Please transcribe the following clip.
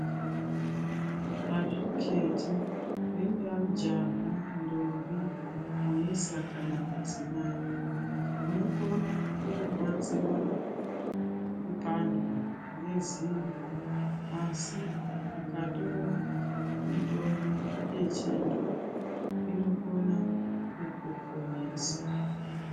Azviketi ringaa jaha, ndombi, muisa kana mudzimai, unokona kurwadziwa kupandwa ngezino. Asi ukatora mitombo yechianhu inokona kukuponesa.